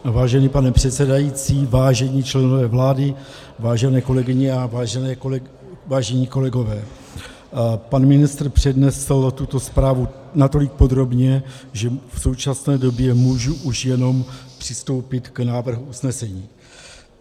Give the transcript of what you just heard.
Vážený pane předsedající, vážení členové vlády, vážené kolegyně a vážení kolegové, pan ministr přednesl tuto zprávu natolik podrobně, že v současné době můžu už jenom přistoupit k návrhu usnesení.